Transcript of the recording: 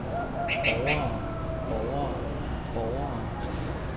borgere borgere borgere